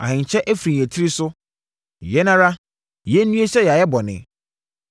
Ahenkyɛ afiri yɛn tiri so. Yɛn ara, yɛnnue sɛ yɛayɛ bɔne!